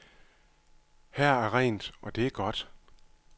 Her er rent, og det er godt.